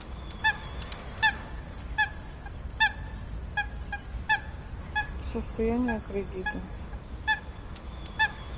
это состояние кредита